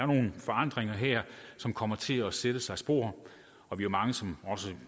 nogle forandringer som kommer til at sætte sig spor og vi er mange som